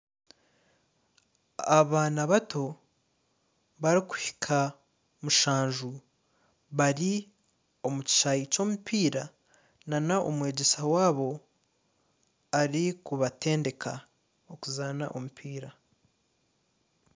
Abaana bato barikuhika mushanju bari omu kishaayi ky'omupiira nana omwegyesa waabo arikubatendeka okuzaana omupiira